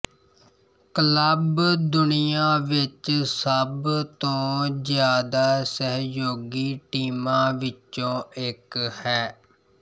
club ਦੁਨੀਆ ਵਿਚ ਸਭ ਤੋਂ ਜਿਆਦਾ ਸਹਿਯੋਗੀ ਟੀਮਾਂ ਵਿੱਚੋਂ ਇੱਕ ਹੈ